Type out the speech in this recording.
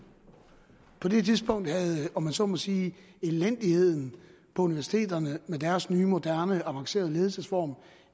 på det tidspunkt havde om jeg så må sige elendigheden på universiteterne med deres nye moderne og avancerede ledelsesform